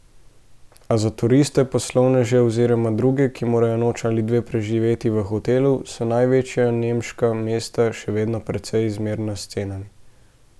A za turiste, poslovneže oziroma druge, ki morajo noč ali dve preživeti v hotelu, so največja nemška mesta še vedno precej zmerna s cenami.